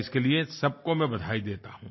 इसके लिए मैं सबको बधाई देता हूँ